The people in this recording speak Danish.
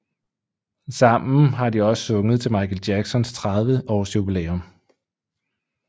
Sammen har de også sunget til Michael Jacksons 30 års jubilæum